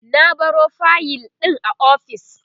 na baro fayil ɗin a ofis